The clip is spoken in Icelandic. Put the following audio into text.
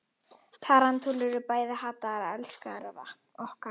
tarantúlur eru bæði hataðar og elskaðar af okkur mönnunum